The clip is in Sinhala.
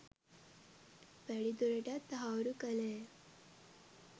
වැඩිදුරටත් තහවුරු කළේය